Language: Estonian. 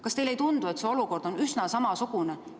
Kas teile ei tundu, et see olukord on üsna samasugune?